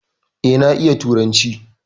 E, na iya turanci.